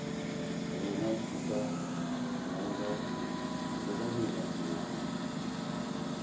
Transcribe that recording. rena di ka mela dinao